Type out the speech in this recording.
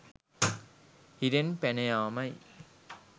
හිරෙන් පැන යාමයි.